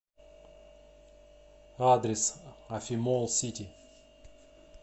адрес афимолл сити